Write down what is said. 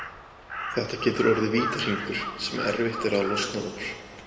Þetta getur orðið vítahringur sem erfitt er að losna úr.